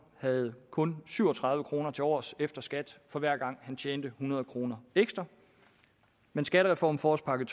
havde kun syv og tredive kroner tilovers efter skat for hver gang han tjente hundrede kroner ekstra men skattereformen forårspakke